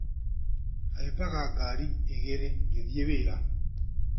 Haimbaga ngari ĩgĩrĩ ngĩthiĩ wĩra.